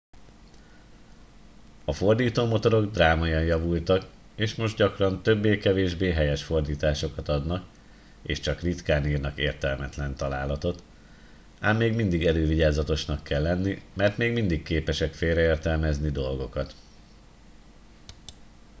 a fordítómotorok drámaian javultak és most gyakran többé-kevésbé helyes fordításokat adnak és csak ritkán írnak értelmetlen találatot ám még mindig elővigyázatosnak kell lenni mert még mindig képesek félreértelmezni dolgokat